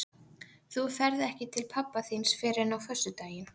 Þú ferð ekki til pabba þíns fyrr en á föstudaginn.